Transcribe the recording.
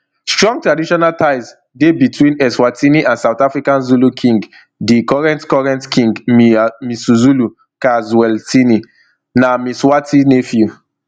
strong traditional ties dey between eswatini and south africa zulu king di current current king misuzulu ka zwelithini na mswati iii nephew